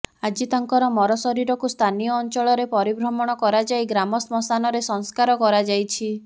ଆଜି ତାଙ୍କର ମର ଶରୀରକୁ ସ୍ଥାନୀୟ ଅଂଚଳରେ ପରିଭ୍ରମଣ କରାଯାଇ ଗ୍ରାମ ଶ୍ମଶାନରେ ସଂସ୍କାର କରାଯାଇଛି